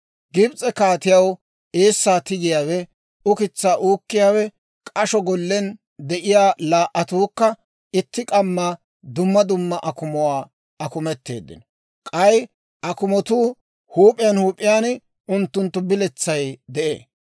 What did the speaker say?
Gibs'e kaatiyaw eessaa tigiyaawenne ukitsaa uukkiyaawe, k'asho gollen de'iyaa laa"attuukka, itti k'amma dumma dumma akumuwaa akumeteeddino. K'ay akumotoo huup'iyaan huup'iyaan unttunttu biletsay de'ee.